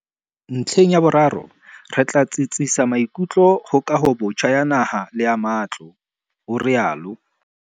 "Ntlheng ya boraro, re tla tsitsisa maikutlo ho kahobotjha ya naha le ya matlo", o rialo.